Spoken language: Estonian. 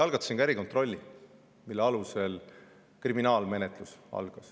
Algatasin ka erikontrolli, mille alusel algas kriminaalmenetlus.